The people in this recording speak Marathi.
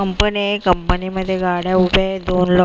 कंपनी आहे कंपनी मध्ये गाड्या उभ्या आहेत दोन --